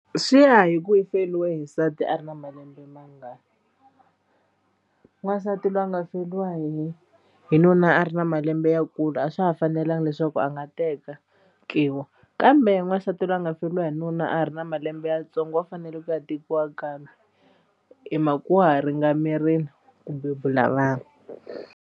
Swi ya hi ku i feriwe hi nsati a ri na malembe mangani n'wansati loyi a nga feriwa hi hi nuna a ri na malembe ya kulu a swa ha fanelanga leswaku a nga teka ki wa kambe n'wansati loyi a nga feriwa hi nuna a ha ri na malembe yantsongo wa fanele ku ya tekiwa kambe hi mhaka wa ha ringanerile ku bebula vana.